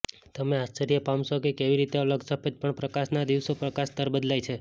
તમે આશ્ચર્ય પામશો કે કેવી રીતે અલગ સફેદ પણ પ્રકાશનો દિવસમાં પ્રકાશ સ્તર બદલાય છે